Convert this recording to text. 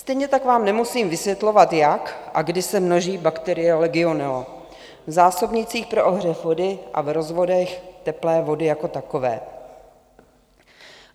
Stejně tak vám nemusím vysvětlovat, jak a kdy se množí bakterie legionella v zásobnících pro ohřev vody a v rozvodech teplé vody jako takové.